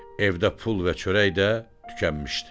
Evdə pul və çörək də tükənmişdi.